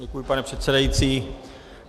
Děkuji, pane předsedající.